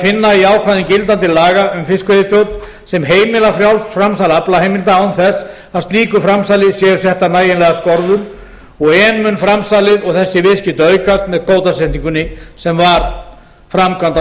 finna í ákvæðum gildandi laga um fiskveiðistjórn sem heimila frjálst framsal aflaheimilda án þess að slíku framsali séu settar nægilegar skorður og enn mun framsalið og þessi viðskipti aukast með kvótasetningu smábátaflotans sem var framkvæmd á